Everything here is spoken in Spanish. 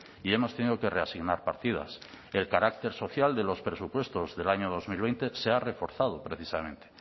y hemos tenido que reasignar partidas el carácter social de los presupuestos del año dos mil veinte se ha reforzado precisamente